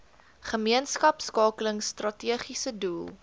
gemeenskapskakeling strategiese doel